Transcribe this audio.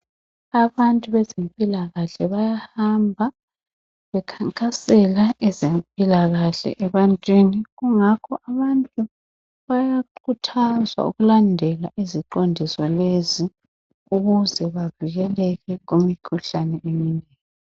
Abantu bezempilakahle bayahamba bekhankasela ezempilakahle ebantwini kungakho abantu bayakhuthazwa ukulandela iziqondiso lezi ukuze bavikeleke kumikhuhlane eminengi.